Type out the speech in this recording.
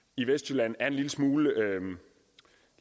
i vestjylland er en lille smule